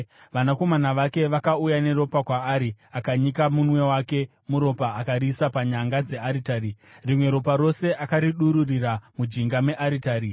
Vanakomana vake vakauya neropa kwaari akanyika munwe wake muropa akariisa panyanga dzearitari. Rimwe ropa rose akaridururira mujinga mearitari.